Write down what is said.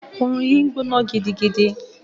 Òòrùn yìí ń gbóná gidigidi.